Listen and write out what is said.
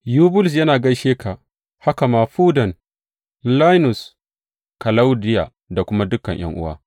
Yubulus yana gaishe ka, haka ma Fuden, Lainus, Kalaudiya da kuma dukan ’yan’uwa.